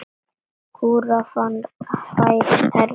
Kúrfan færist hærra og hærra.